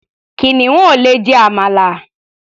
Kìnìún ò lè jẹ àmàlà.